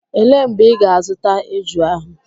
Elee mgbe ị ga-azụta eju ahụ?